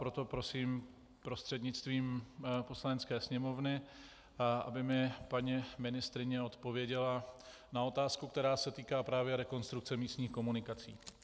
Proto prosím prostřednictvím Poslanecké sněmovny, aby mi paní ministryně odpověděla na otázku, která se týká právě rekonstrukce místních komunikací.